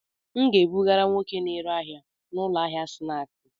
A ga m ebugara nwoke na-ere ahịa n'ụlọ ahịa snaaskị.